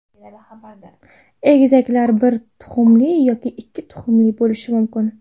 Egizaklar bir tuxumli yoki ikki tuxumli bo‘lishi mumkin.